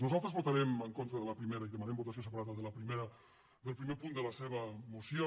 nosaltres votarem en contra de la primera i demanem votació separada del primer punt de la seva moció